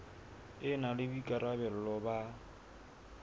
e na le boikarabelo ba